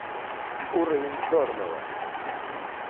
уровень черного